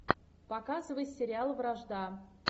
показывай сериал вражда